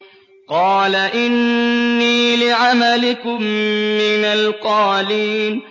قَالَ إِنِّي لِعَمَلِكُم مِّنَ الْقَالِينَ